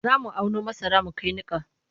Za mu auno masara mu kai niƙa.